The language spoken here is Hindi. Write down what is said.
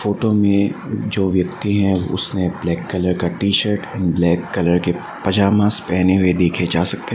फोटो में जो व्यक्ति हैं उसने ब्लैक कलर का T shirt and black colour के पजामास पहने हुए देखे जा सकते हैं।